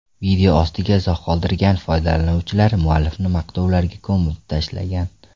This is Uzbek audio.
Video ostiga izoh qoldirgan foydalanuvchilar muallifni maqtovlarga ko‘mib tashlagan.